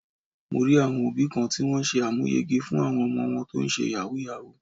Mo rí àwọn òbí kan tí wón ṣe àmúyege fún àwọn ọmọ wọn tó ń ṣe Yahoo Yahoo.